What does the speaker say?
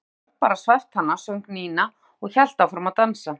Kannski getur Örn bara svæft hana söng Nína og hélt áfram að dansa.